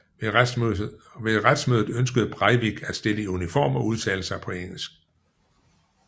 Ved retsmødet ønskede Breivik at stille i uniform og udtale sig på engelsk